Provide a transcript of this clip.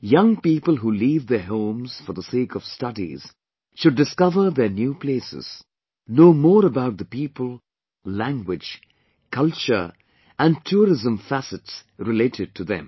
Young people who leave their homes for the sake of studies should discover their new places, know more about the people, language, culture & tourism facets related to them